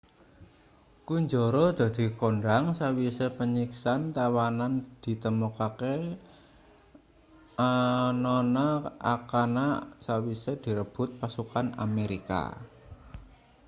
kunjara dadi kondhang sawise panyiksan tawanan ditemokake anana akana sawise direbut pasukan amerika